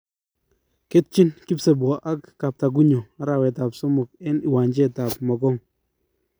Ketchin kipsebwo ak kaptagunyo arawet ap somok eng iwanjet at mokong